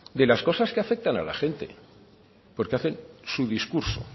de las cosas que afectan a la gente porque hacen su discurso